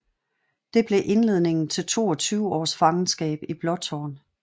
Det blev indledningen til 22 års fangenskab i Blåtårn